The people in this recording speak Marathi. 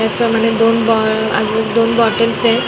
त्याचप्रमाणे दोन बॉ आणि दोन बॉटल्स एत .